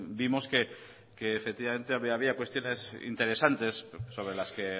vimos que efectivamente había cuestiones interesantes sobre las que